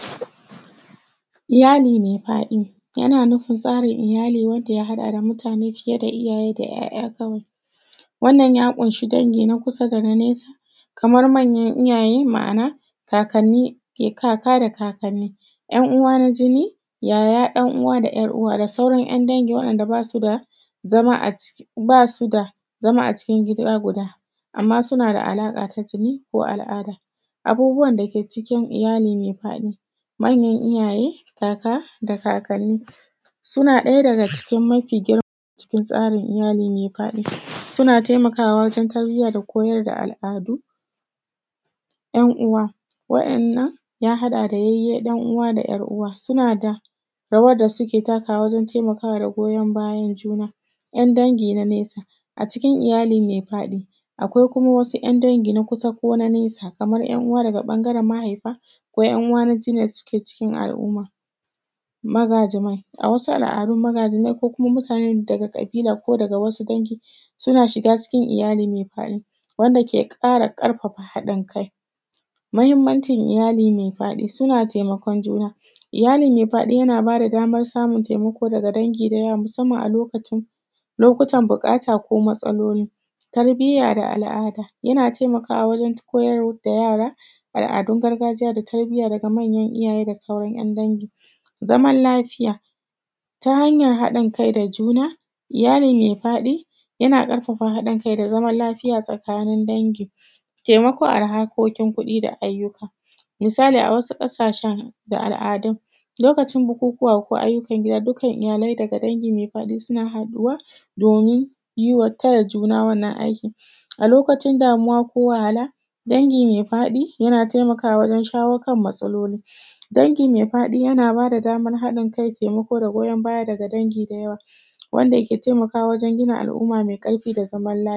Iyali mai faɗi, yana nufin tsarin iyali wanda ya haɗa da mutane fiye da iyaye, da ‘ya’ya kawai. Wannan ya ƙunshi dangi na kusa dana nesa, kamar manyan iyaye ma’ana kakkani, kaka da kakkani, ‘yan uwa na jini, yaya, dan uwa, da ‘yar uwa da sauran ‘yan dangi waɗanda basu da zama, basu da zama a cikin gida guda, amma suna da alaka ta jini ko al’ada. Abubuwan dake ciki iyali mai faɗi, manyan iyaye, kaka, da kakkani, suna ɗaya daga cikin mafi girm,a cikin tsari iyali mai faɗi. Suna taimakawa wajen tarbiyya da koyar da al’adu. ‘Yan uwa, wa’innan ya haɗa da yayyi ɗan uwa da ‘yar uwa, suna da rawar da suke takawa wajen taimakawa raguwa goyon bayan juna. ‘Yan dangi na nesa: a cikin iyali me faɗi, akwai kuma wasu ‘yan dangi na kusa kona nesa, kamar ‘yan uwa daga ɓangaren mahaifa, ko ‘yan uwa na jini da suke cikin al’umma. Magajimai: a wasu al’adu magajinai, ko kuma mutanen da daga ƙabila ko daga wasu dangi suna shiga cikin iyali mai fadi, wanda ke kara ƙarfafa haɗin kai. Mahimmanci iyali mai faɗi: suna taimakon juna, iyali mai faɗi yana bada damar samun taimako daga dangi da yawa, musamman a lokacin, lokutan buƙata ko matsaloli. Tarbiyya da al’ada: yana taimakawa wajen koyar da yara al’adun gargajiya da tarbiyya daga manyan iyaye da sauran ‘yan dangi. Zaman lafiya: Ta hanyar haɗin kai da juna, iyali mai faɗi yana ƙarfafa haɗin kai da zaman lafiya tsakanin dangi. Taimako a harkokin kuɗi da ayyuka: misali a wasu ƙashen da al’adun lokacin bukukuwa ko ayyukan gida dukkan iyalai daga dangi me faɗi suna haɗuwa domin yiwa juna, taya juna wannan aiki. A lokacin damuwa ko wahala: Dangi mai faɗi yana taimakawa wajen shawo kan matsaloli, dangi mai faɗi yana bada damar haɗin kai, taimako da goyan baya daga dangi da yawa, wanda ke taimakawa wajen gina al’umma mai ƙarfi da zaman lafiya.